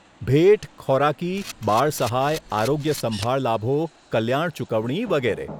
ભેટ, ખોરાકી, બાળ સહાય, આરોગ્યસંભાળ લાભો, કલ્યાણ ચૂકવણી વગેરે.